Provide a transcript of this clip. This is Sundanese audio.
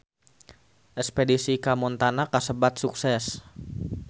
Espedisi ka Montana kasebat sukses